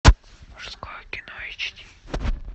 мужское кино эйч ди